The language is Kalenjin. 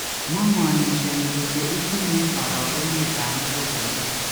Mo manishoni kole itinye orogenet ab muguleldo